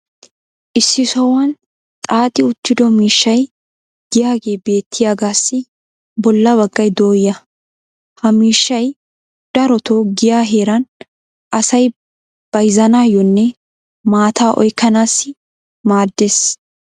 issi sohuwan xaaxxi uttido miishshay diyaagee beettiyaagaassi bola baggay dooya. ha miishshay darotoo giyaa heeran asay bayzzanaayoonne mataa oykkanaassi maadees.